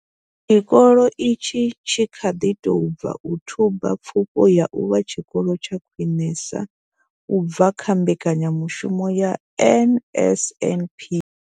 Tshikolo itshi tshi kha ḓi tou bva u thuba pfufho ya u vha tshikolo tsha khwiṋesa u bva kha mbekanyamushumo ya NSNP.